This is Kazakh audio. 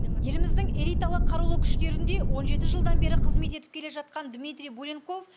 еліміздің элиталы қарулы күштерінде он жеті жылдан бері қызмет етіп келе жатқан дмитрий буленков